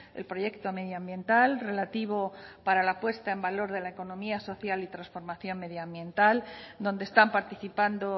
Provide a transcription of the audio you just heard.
el proyecto medioambiental relativo para la puesta en valor de la economía social y transformación medioambiental donde están participando